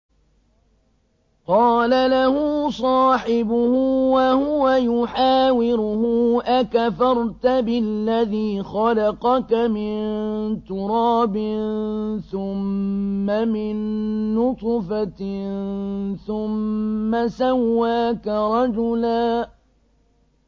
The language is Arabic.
قَالَ لَهُ صَاحِبُهُ وَهُوَ يُحَاوِرُهُ أَكَفَرْتَ بِالَّذِي خَلَقَكَ مِن تُرَابٍ ثُمَّ مِن نُّطْفَةٍ ثُمَّ سَوَّاكَ رَجُلًا